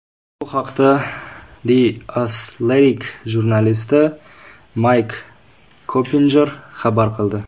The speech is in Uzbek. Bu haqda The Athletic jurnalisti Mayk Koppinjer xabar qildi .